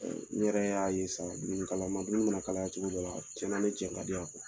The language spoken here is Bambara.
Ɛ u yɛrɛ y'a ye sa dumuni kalaman dumuni mana kalaya cogo dɔ la a caman bɛ cɛ ka di yan